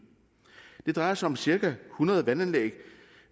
det drejer sig om cirka hundrede vandanlæg